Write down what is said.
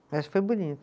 Acho que foi bonito.